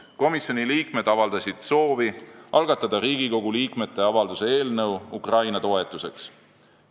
Komisjonide liikmed avaldasid soovi algatada Riigikogu liikmete avalduse eelnõu Ukraina toetuseks.